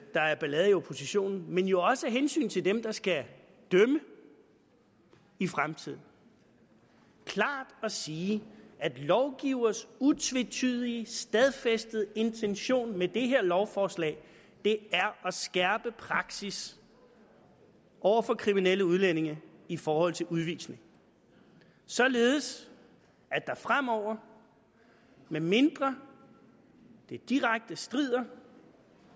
der er ballade i oppositionen men jo også af hensyn til dem der skal dømme i fremtiden klart at sige at lovgivers utvetydige stadfæstede intention med det her lovforslag er at skærpe praksis over for kriminelle udlændinge i forhold til udvisning således at der fremover medmindre det direkte strider